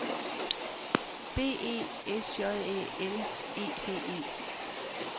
B E S J Æ L E D E